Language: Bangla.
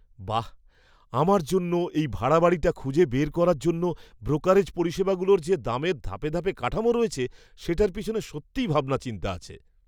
বাঃ, আমার জন্য এই ভাড়া বাড়িটি খুঁজে বের করার জন্য ব্রোকারেজ পরিষেবাগুলোর যে দামের ধাপে ধাপে কাঠামো রয়েছে, সেটার পিছনে সত্যিই ভাবনা চিন্তা আছে।